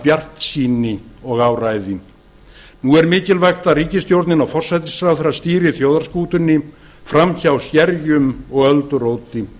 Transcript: bjartsýni og áræði nú er mikilvægt að ríkisstjórnin og forsætisráðherra stýri þjóðarskútunni fram hjá skerjum og ölduróti